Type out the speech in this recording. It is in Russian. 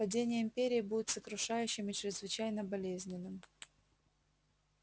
падение империи будет сокрушающим и чрезвычайно болезненным